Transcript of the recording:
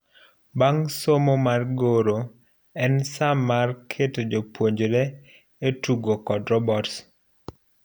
Bang' somo mar goro, en saa mar keto jopuonjre e tugo kod robots.